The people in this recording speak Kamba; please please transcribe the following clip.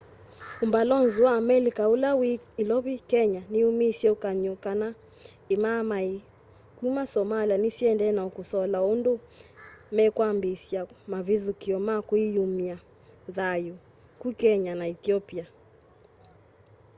umbalonzi wa amelika ula wi ilovi kenya niumisye ukany'o kana imaamai kuma somalia ni siendee na kusola undu mekwambiisya mavithukia ma kwiyumya thayu ku kenya na ethiopia